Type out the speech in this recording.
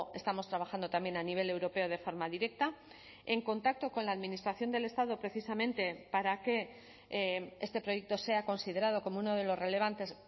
estamos trabajando también a nivel europeo de forma directa en contacto con la administración del estado precisamente para que este proyecto sea considerado como uno de los relevantes